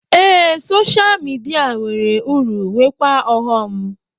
Ee, soshal midia nwere uru nweekwa ọghọm